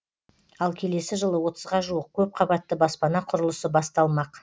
ал келесі жылы отызға жуық көпқабатты баспана құрылысы басталмақ